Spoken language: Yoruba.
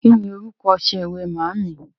Ki ni orúkọ ọṣẹ ìwẹ̀ màámì?